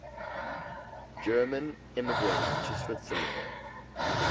german immigrants to switzerland